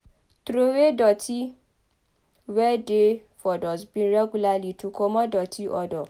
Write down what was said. Trowey doti wey dey for dustbin regularly to comot doti odour